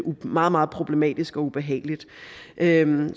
meget meget problematisk og ubehageligt endelig